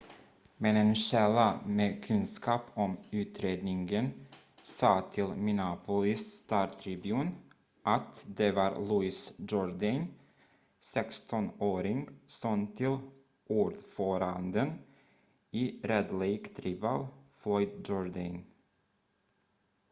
men en källa med kunskap om utredningen sa till minneapolis star-tribune att det var louis jourdain 16-årig son till ordföranden i red lake tribal floyd jourdain